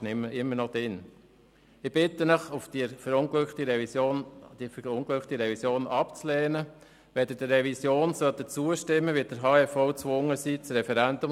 Ich brauche jährlich 70 Ster Brennholz, um vier Wohnungen zu beheizen.